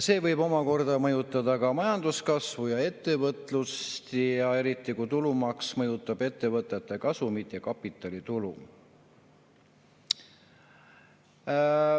See võib omakorda mõjutada majanduskasvu ja ettevõtlust, eriti kuna tulumaks mõjutab ettevõtete kasumit ja kapitalitulu.